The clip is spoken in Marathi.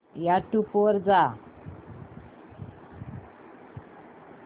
यूट्यूब वर जा